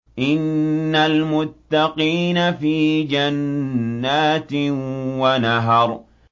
إِنَّ الْمُتَّقِينَ فِي جَنَّاتٍ وَنَهَرٍ